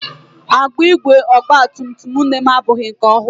Agbụ ígwè ọgba tum tum nne m abụghị nke ọhụrụ.